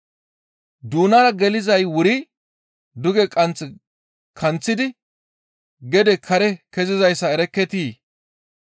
Doonara gelizay wuri duge qanth kanththidi gede kare kezizayssa erekketii?